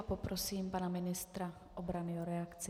A poprosím pana ministra obrany o reakci.